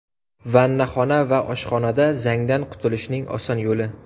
Vannaxona va oshxonada zangdan qutulishning oson yo‘li.